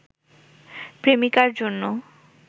প্রেমিকার জন্য